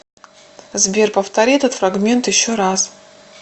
сбер повтори этот фрагмент еще раз